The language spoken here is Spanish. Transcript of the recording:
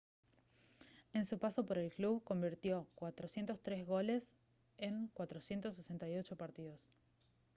en su paso por el club convirtió 403 goles en 468 partidos